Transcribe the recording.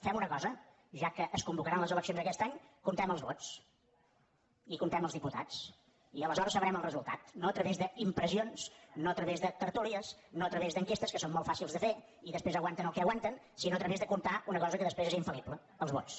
fem una cosa ja que es convocaran les eleccions aquest any comptem els vots i comptem els diputats i aleshores sabrem el resultat no a través d’impressions no a través de tertúlies no a través d’enquestes que són molt fàcils de fer i després aguanten el que aguanten sinó a través de comptar una cosa que després és infallible els vots